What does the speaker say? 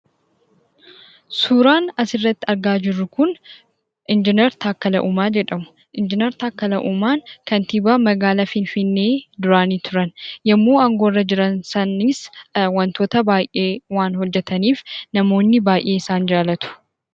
Suuraan asirratti argaa jirru kun Injiinar Taakkalaa Uumaa jedhamu. Injiinar Taakkalaa Uumaan kantiibaa magaalaa Finfinnee duraanii turani. Yemmuu aangoorra turan sanas wantoota baay'ee hojjetanii waan turaniif namoonni baay'ee isaan jaallatu.